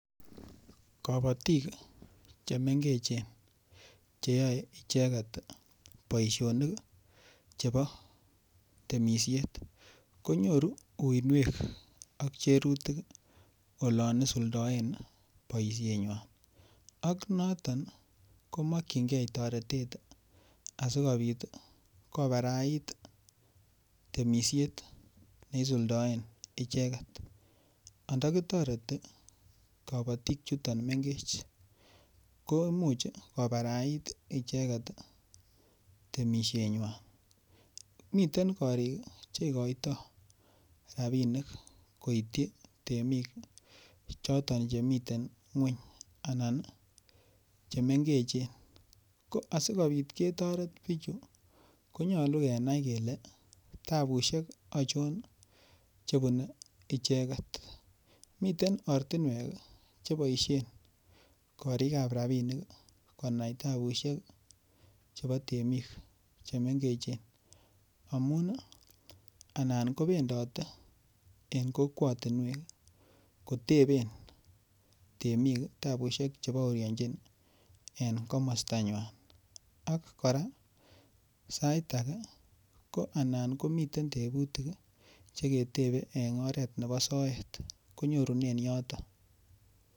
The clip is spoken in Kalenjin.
Kobotik chemengechen cheyoei icheget boishonik chebo temishet konyoru uinwek ak cherutik olon isuldoen boishenywai ak noton komokchingei toretet asikobit kobarait temishet neisuldoen icheget andakitoreti kabotik chuton mengech ko imuuch kobarait icheget temishenywai miten korik cheikoiton rabinik koityi temik choton chemiten ng'weny anan chemengechen ko asikobit ketoret bichu konyolu kenai kele tabushek achon chebunei icheget miten ortinwek cheboishen korikab rabinik konai tabushek chebo temik chemengechen amun anan kobendote en kokwotinwek kotebe temik tabushek chebaoryanjin en komostanywai ak kora sait age ko anan komitei tebutik cheketebei en oret nebo soet konyorunen yoton